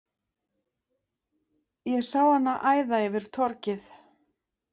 Ég sá hana æða yfir torgið.